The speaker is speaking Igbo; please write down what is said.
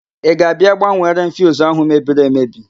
Ị ga-abịa gbanwere m fiuzu ahụ mebiri emebi?